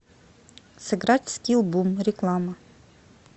сыграть в скилл бум реклама